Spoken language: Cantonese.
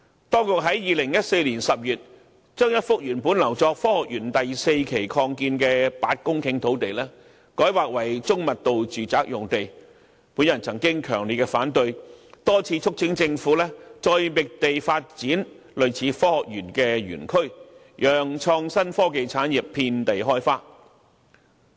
當局在2014年10月將一幅原本留作科學園第四期擴建用途的8公頃土地改劃為中密度住宅用地，我曾表示強烈反對，多次促請政府再覓地發展類似科學園的園區，讓創新科技產業遍地開花。